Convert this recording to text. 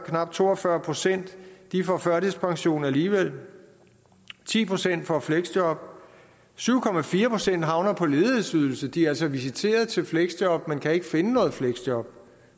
knap to og fyrre procent får førtidspension alligevel at ti procent får fleksjob at syv procent havner på ledighedsydelse de er altså visiteret til fleksjob men kan ikke finde noget fleksjob